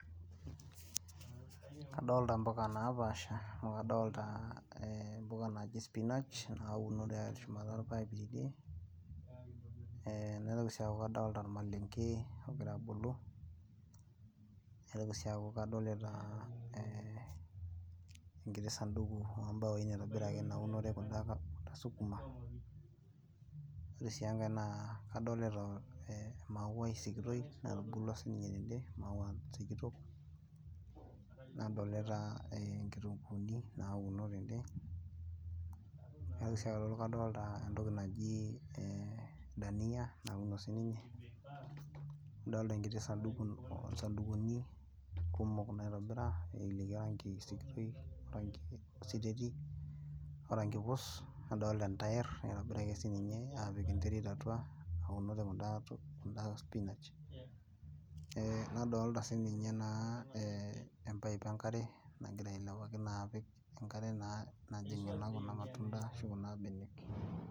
Kaadolta impuka naapasha , amu kadolita mpuka naji spinach nauno teshumata orpaip tidie , eeh naitoki sii aaku kadolita ormalenge ogira abulu , naitoki sii aaku kadolita enkiti sanduku oombawoi naitobiraki naunore kundaa sukuma , wore sii engai naa kadolita eemauwai sikitoi natubulua siininye tende , mauwa sikitok , nadolita inkitunguuni nauno tende, naitoki sii aaku kadolita entoki naji dania nauno siininye , nadolita sandukuni kumok naitobira nayelieku orangi siteti oorangi puus , nadolita entayer naitobiraki sii ninye apik enterit atua , naunore kundaa spinach , eeh nadolita naa siininye naa empaip enkare nagira ailepaki naa apik enkare najing naa kunda matunda ashu kuna benek.